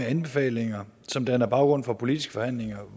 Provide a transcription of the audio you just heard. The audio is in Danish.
anbefalinger som danner baggrund for politiske forhandlinger